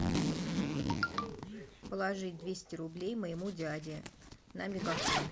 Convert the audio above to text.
положить двести рублей моему дяде на мегафон